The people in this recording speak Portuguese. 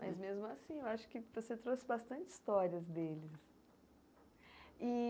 Mas, mesmo assim, eu acho que você trouxe bastante histórias deles e.